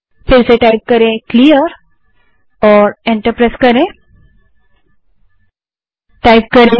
फिर से clear type करें और एंटर दबायें